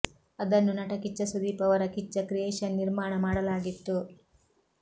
ಅದನ್ನು ನಟ ಕಿಚ್ಚ ಸುದೀಪ್ ಅವರ ಕಿಚ್ಚ ಕ್ರಿಯೇಷನ್ ನಿರ್ಮಾಣ ಮಾಡಲಾಗಿತ್ತು